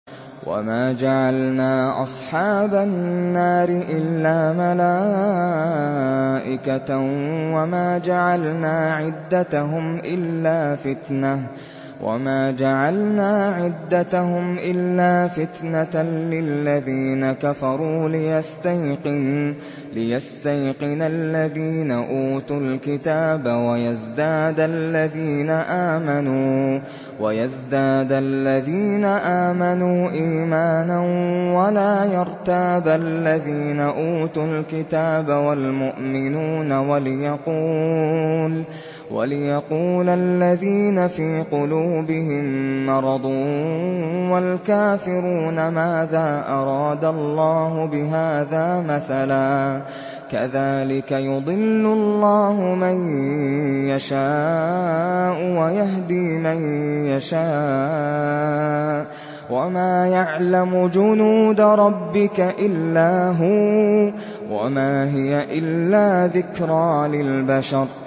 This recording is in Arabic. وَمَا جَعَلْنَا أَصْحَابَ النَّارِ إِلَّا مَلَائِكَةً ۙ وَمَا جَعَلْنَا عِدَّتَهُمْ إِلَّا فِتْنَةً لِّلَّذِينَ كَفَرُوا لِيَسْتَيْقِنَ الَّذِينَ أُوتُوا الْكِتَابَ وَيَزْدَادَ الَّذِينَ آمَنُوا إِيمَانًا ۙ وَلَا يَرْتَابَ الَّذِينَ أُوتُوا الْكِتَابَ وَالْمُؤْمِنُونَ ۙ وَلِيَقُولَ الَّذِينَ فِي قُلُوبِهِم مَّرَضٌ وَالْكَافِرُونَ مَاذَا أَرَادَ اللَّهُ بِهَٰذَا مَثَلًا ۚ كَذَٰلِكَ يُضِلُّ اللَّهُ مَن يَشَاءُ وَيَهْدِي مَن يَشَاءُ ۚ وَمَا يَعْلَمُ جُنُودَ رَبِّكَ إِلَّا هُوَ ۚ وَمَا هِيَ إِلَّا ذِكْرَىٰ لِلْبَشَرِ